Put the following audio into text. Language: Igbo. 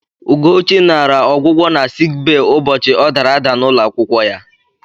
Ụgochị naara ọgwụgwọ na sik bee ụbọchị ọ dara ada n'ụlọ akwụkwọ ya.